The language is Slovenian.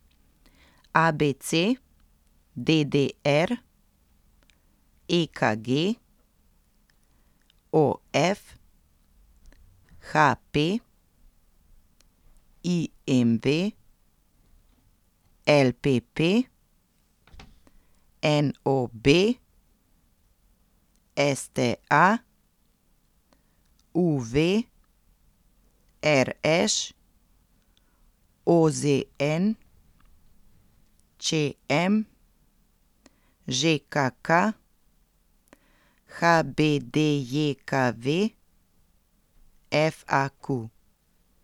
A B C; D D R; E K G; O F; H P; I M V; L P P; N O B; S T A; U V; R Š; O Z N; Č M; Ž K K; H B D J K V; F A Q.